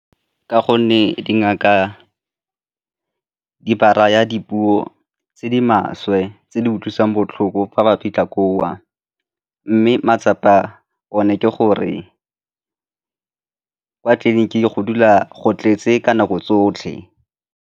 Ka gonne dingaka di ba raya dipuo tse di maswe tse di utlwisang botlhoko fa ba fitlha koo mme matsapa one ke gore ko tleliniking go dula go tletse ka nako tsotlhe.